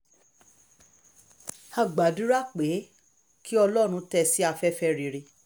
a gbàdúrà pé kí ọlọ́run tẹ́ ẹ sí afẹ́fẹ́ rere